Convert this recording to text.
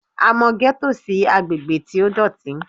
A mọ gẹ́tò sí agbègbè tí ó dọ̀tí